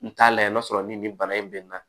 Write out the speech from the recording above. N t'a layɛ n'a sɔrɔ ni nin bana in bɛnna